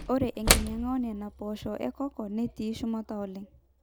ore enkinyanga oonena poosho ecocoa netii shumata oleng